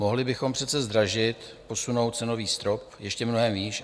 Mohli bychom přece zdražit, posunout cenový strop ještě mnohem výš.